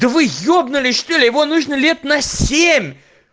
да вы ёбнулись что ли его нужно лет на семь